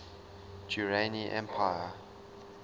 durrani empire